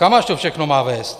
Kam až to všechno má vést?